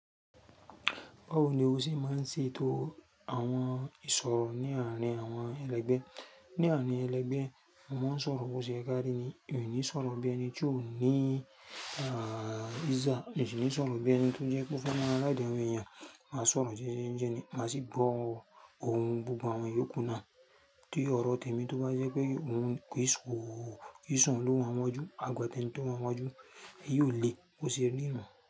Báwo ni o ṣe máa ń ṣe ètò àwọn ìsọ̀rọ̀ ní àárín àwọn ẹlẹgbẹ́? Ní àárín ẹlẹgbẹ́, mo máa ń sọ̀rọ̀ bó ṣe ye ká rí ni, mi o ní sọ̀rọ̀ bí ẹni tí ó ní, ah, ija, mio sì ńi sọ̀rọ̀ bí ẹni tó jẹ́ pé o fe maa ride awon èèyàn, màá sọ̀rọ̀ jéjé jẹ́ ni, màá sì gbọ òhun gbogbo àwọn yòókù náà tí ọ̀rọ̀ tèmi tó bá jẹ́ pé òun ko, kii soun ló wá n wájú, àgbọ́ tẹ́nì tó wá wájú, èyí ò le bó ṣe rí nu.